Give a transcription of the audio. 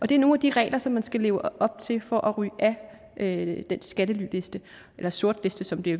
det er nogle af de regler som man skal leve op til for at ryge af den skattelyliste eller sortliste som det